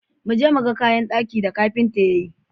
Mu je mu ga kayan daki da kafinta ya yi.